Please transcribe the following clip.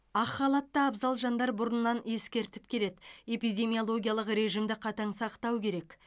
ақ халатты абзал жандар бұрыннан ескертіп келеді эпидемиологиялық режимді қатаң сақтау керек